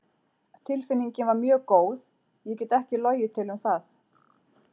Tilfinningin var mjög góð, ég get ekki logið til um það.